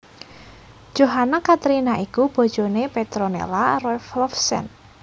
Johanna Catherina iku bojoné Petronella Roelofsen